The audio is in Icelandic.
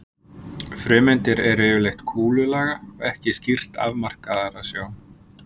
Frumeindir eru yfirleitt kúlulaga og ekki skýrt afmarkaðar að sjá.